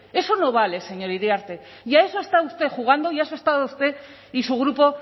eso no vale señor iriarte y a eso ha estado usted jugando y a eso ha estado usted y su grupo